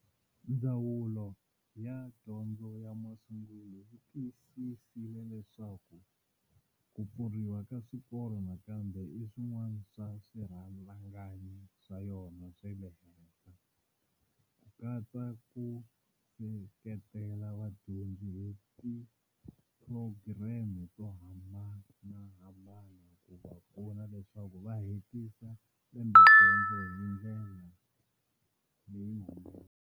Ndzawulo ya Dyondzo ya Masungulo yi tiyisisile leswaku ku pfuriwa ka swikolo nakambe i swin'wana swa swirhangana swa yona swa le henhla, ku katsa na ku seketela vadyondzi hi tiphurogireme to hambanahambana ku va pfuna leswaku va hetisa lembedyondzo hi ndlela leyi humelelaka.